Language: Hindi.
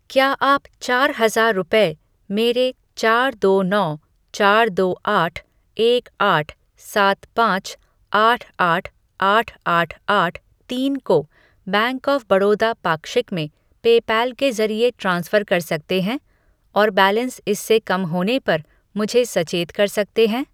क्या आप चार हज़ार रुपये मेरे चार दो नौ चार दो आठ एक आठ सात पाँच आठ आठ आठ आठ आठ तीन को बैंक ऑफ़ बड़ौदा पाक्षिक में पेपैल के ज़रिए ट्रांसफ़र कर सकते हैं और बैलेंस इससे कम होने पर मुझे सचेत कर सकते हैं?